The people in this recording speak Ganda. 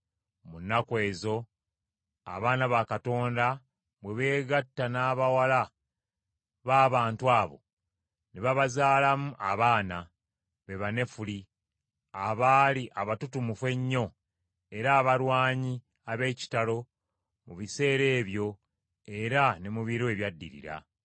Mu nnaku ezo, abaana ba Katonda bwe beegatta n’abawala b’abantu abo, ne babazaalamu abaana; be Banefuli abaali abatutumufu ennyo era abalwanyi abeekitalo mu biseera ebyo era ne mu biro ebyaddirira.